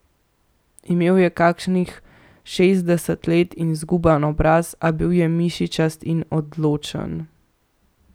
Imel je kakih šestdeset let in zguban obraz, a bil je mišičast in odločen.